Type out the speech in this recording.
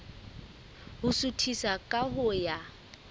ho suthisa ka ho ya